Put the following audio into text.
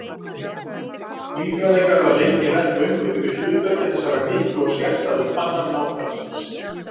Líffræðingar hafa lengi velt vöngum yfir hlutverki þessarar miklu og sérstæðu tannar náhvalsins.